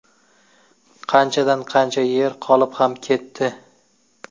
Qanchadan qancha yer qolib ham ketdi.